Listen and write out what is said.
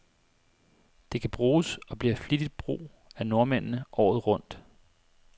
Det kan bruges, og bliver flittigt brug af nordmændene, året rundt.